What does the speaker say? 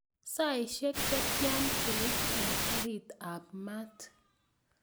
Saishek che tian keit en karit ap maat